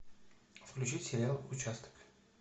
включить сериал участок